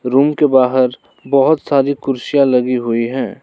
Room के बाहर बहोत सारी कुर्सियां लगी हुई हैं।